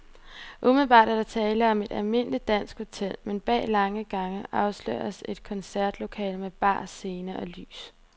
Umiddelbart er der tale om et almindeligt dansk hotel, men bag lange gange afsløres et koncertlokale med bar, scene og lys.